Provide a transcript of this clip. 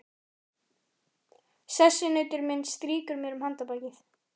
Sessunautur minn strýkur mér um handarbakið.